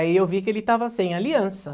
Aí eu vi que ele estava sem aliança.